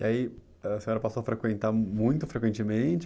E aí a senhora passou a frequentar muito frequentemente?